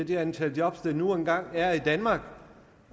det antal job der nu engang er i danmark